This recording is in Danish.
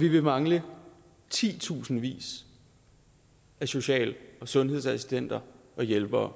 vi vil mangle titusindvis af social og sundhedsassistenter og hjælpere